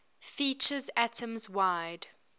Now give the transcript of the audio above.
features atoms wide